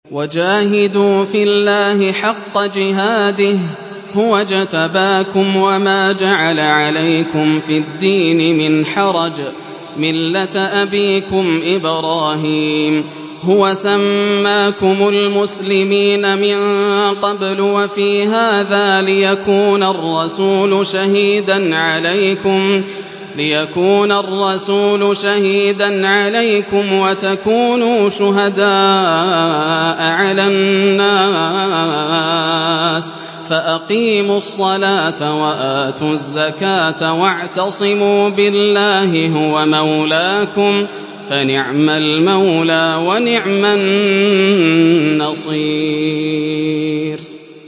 وَجَاهِدُوا فِي اللَّهِ حَقَّ جِهَادِهِ ۚ هُوَ اجْتَبَاكُمْ وَمَا جَعَلَ عَلَيْكُمْ فِي الدِّينِ مِنْ حَرَجٍ ۚ مِّلَّةَ أَبِيكُمْ إِبْرَاهِيمَ ۚ هُوَ سَمَّاكُمُ الْمُسْلِمِينَ مِن قَبْلُ وَفِي هَٰذَا لِيَكُونَ الرَّسُولُ شَهِيدًا عَلَيْكُمْ وَتَكُونُوا شُهَدَاءَ عَلَى النَّاسِ ۚ فَأَقِيمُوا الصَّلَاةَ وَآتُوا الزَّكَاةَ وَاعْتَصِمُوا بِاللَّهِ هُوَ مَوْلَاكُمْ ۖ فَنِعْمَ الْمَوْلَىٰ وَنِعْمَ النَّصِيرُ